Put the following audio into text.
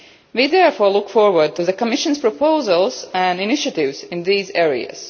We therefore look forward to the Commission's proposals and initiatives in these areas.